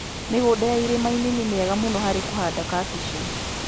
Mĩgũnda ya irĩma-inĩ nĩ miega mũno harĩ kũhanda kabichi.